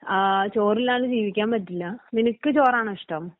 ആ ചോറില്ലാണ്ട് ജീവിക്കാൻ പറ്റില്ല. നിനക്ക് ചോറാണോ ഇഷ്ടം?